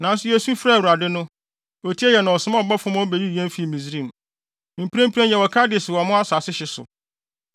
nanso yesu frɛɛ Awurade no, otiee yɛn na ɔsomaa ɔbɔfo ma obeyii yɛn fii Misraim. “Mprempren yɛwɔ Kades wɔ mo asase hye so.